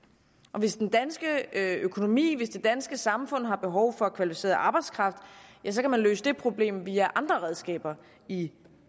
og hvis den danske økonomi hvis det danske samfund har behov for kvalificeret arbejdskraft ja så kan man løse det problem via andre redskaber i